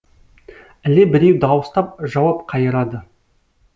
іле біреу дауыстап жауап қайырады